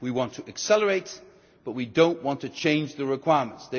then. We want to accelerate the process but we do not want to change the requirements.